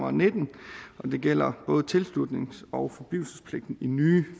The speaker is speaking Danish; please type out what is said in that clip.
og nitten det gælder både tilslutnings og forblivelsespligten i nye